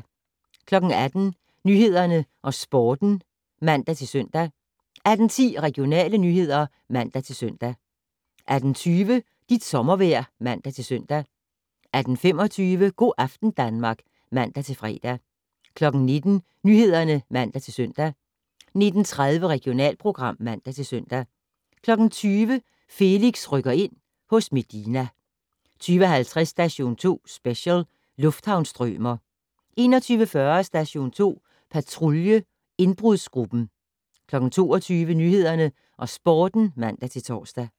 18:00: Nyhederne og Sporten (man-søn) 18:10: Regionale nyheder (man-søn) 18:20: Dit sommervejr (man-søn) 18:25: Go' aften Danmark (man-fre) 19:00: Nyhederne (man-søn) 19:30: Regionalprogram (man-søn) 20:00: Felix rykker ind - hos Medina 20:50: Station 2 Special: Lufthavnsstrømer 21:40: Station 2 Patrulje: Indbrudsgruppen 22:00: Nyhederne og Sporten (man-tor)